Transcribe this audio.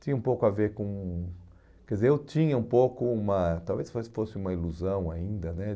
Tinha um pouco a ver com... Quer dizer, eu tinha um pouco uma... Talvez fosse fosse uma ilusão ainda, né?